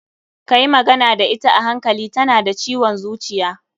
Ka yi magana da ita a hankali, ta na da ciwon zuciya.